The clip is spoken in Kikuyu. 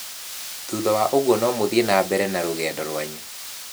Thutha wa ũguo no mũthiĩ na mbere na rũgendo rwanyu".